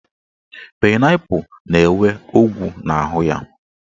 Painaipu na-enwe ọgwụ n'ahụ ya.